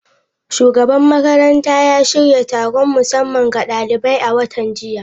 Shugaban makarantar ya shirya taron musamman ga daliban a watan jiya.